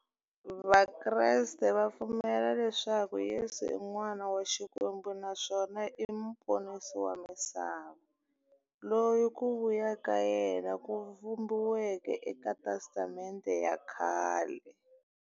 Vakreste va pfumela leswaku Yesu i n'wana wa Xikwembu naswona i muponisi wa misava, loyi ku vuya ka yena ku vhumbiweke eka Testamente ya khale.